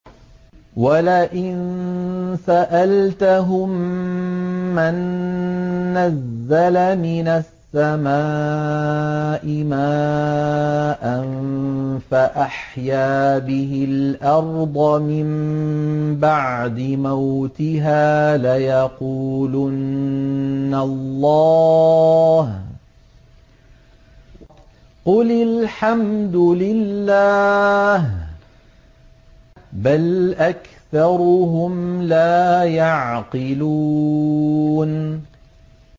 وَلَئِن سَأَلْتَهُم مَّن نَّزَّلَ مِنَ السَّمَاءِ مَاءً فَأَحْيَا بِهِ الْأَرْضَ مِن بَعْدِ مَوْتِهَا لَيَقُولُنَّ اللَّهُ ۚ قُلِ الْحَمْدُ لِلَّهِ ۚ بَلْ أَكْثَرُهُمْ لَا يَعْقِلُونَ